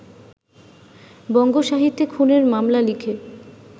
বঙ্গসাহিত্যে খুনের মামলা লিখে